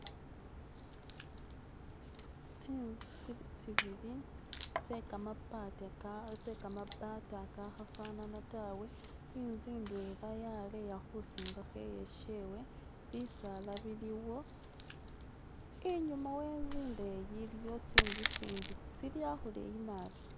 Tsi'nzu tsili tsibili tsekamabati kakhafanana tawe, i'nzu ndwela yaleya khusingakho i'yeshewe bisala biliwo inyuma we'nzu indeyi iliyo tsi'nzu tsindi tsili akhuleyi naabi.